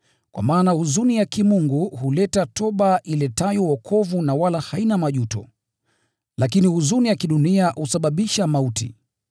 Kwa maana huzuni ya kimungu huleta toba iletayo wokovu na wala haina majuto. Lakini huzuni ya kidunia husababisha mauti.